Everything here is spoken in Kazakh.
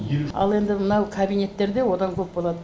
ал енді мынау кабинеттерде одан көп болады